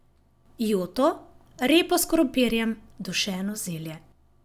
Joto, repo s krompirjem, dušeno zelje.